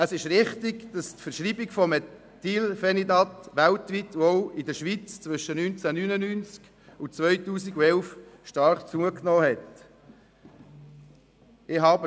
Es ist richtig, dass die Verschreibung von Methylphenidat weltweit, und auch in der Schweiz, zwischen 1999 und 2011 stark zugenommen hatte.